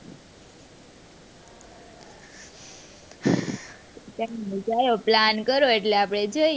Plan કરો એટલે આપડે,